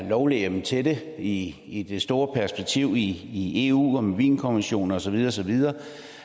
lovhjemmel til det i i det store perspektiv i eu og med wienerkonventionen og så videre og så videre